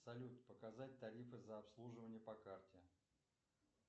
салют показать тарифы за обслуживание по карте